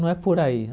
Não é por aí.